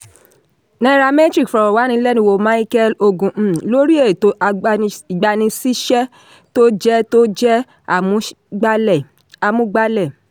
nairametrics fọ̀rọ̀wánilẹ́nuwò micheal ogu um lori etò ìgbaniṣíṣẹ́ tó jẹ́ tó jẹ́ àmúgbálẹ́ amúgbálẹ́.